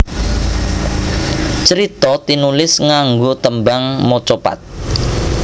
Crita tinulis nganggo tembang macapat